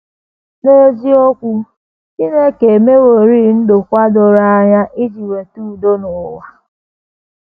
N’eziokwu, Chineke emeworị ndokwa doro anya iji weta udo n’ụwa.